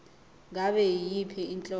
ngabe yiyiphi inhlobo